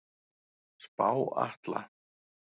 Spá Atla